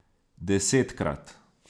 Desetkrat.